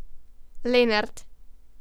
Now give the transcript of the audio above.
Lenart.